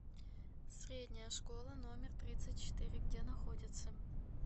средняя школа номер тридцать четыре где находится